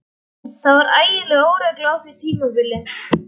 Það var ægileg óregla á því tímabili.